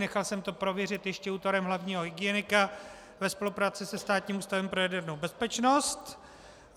Nechal jsem to prověřit ještě útvarem hlavního hygienika ve spolupráci se Státním ústavem pro jadernou bezpečnost.